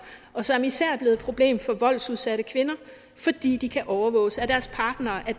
og som især er blevet et problem for voldsudsatte kvinder fordi de kan overvåges af deres partnere